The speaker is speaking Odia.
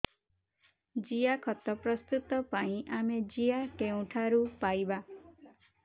ଜିଆଖତ ପ୍ରସ୍ତୁତ ପାଇଁ ଆମେ ଜିଆ କେଉଁଠାରୁ ପାଈବା